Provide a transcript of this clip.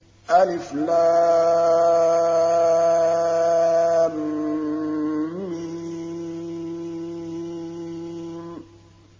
الم